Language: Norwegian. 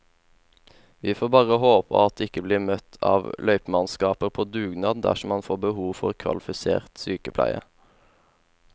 Vi får bare håpe at han ikke blir møtt av løypemannskaper på dugnad dersom han får behov for kvalifisert sykepleie.